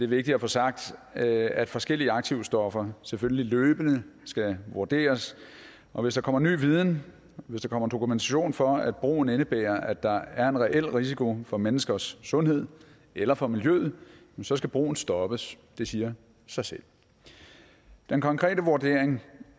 vigtigt at få sagt at at forskellige aktivstoffer selvfølgelig løbende skal vurderes og hvis der kommer ny viden og hvis der kommer dokumentation for at brugen indebærer at der er en reel risiko for menneskers sundhed eller for miljøet så skal brugen stoppes det siger sig selv den konkrete vurdering